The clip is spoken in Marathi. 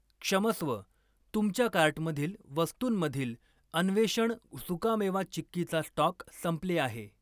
क्षमस्व, तुमच्या कार्टमधील वस्तूंमधील अन्वेषण सुकामेवा चिक्कीचा स्टॉक संपले आहे.